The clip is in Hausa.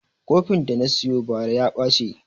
Kofin da na siyo bara ya ɓace